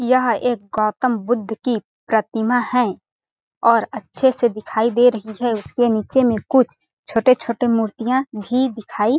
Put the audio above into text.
यह एक गौतम बुद्ध की प्रतिमा है और अच्छे से दिखाई दे रही है उसके नीचे में कुछ छोटे-छोटे मूर्तियाँ भी दिखाई--